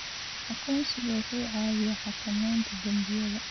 Aqoonsigu wuxuu caawiyaa xakamaynta dembiyada.